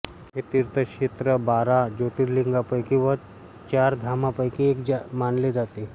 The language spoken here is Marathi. हे तीर्थक्षेत्र बारा ज्योतिर्लिंगांपैकी व चार धामांपैकी एक मानले जाते